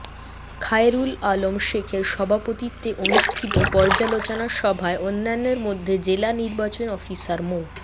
খায়রুল আলম শেখের সভাপতিত্বে অনুষ্ঠিত পর্যালোচনা সভায় অন্যান্যের মধ্যে জেলা নির্বাচন অফিসার মো